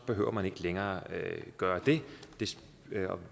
behøver man ikke længere gøre det og